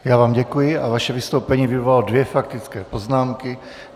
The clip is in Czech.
Já vám děkuji a vaše vystoupení vyvolalo dvě faktické poznámky.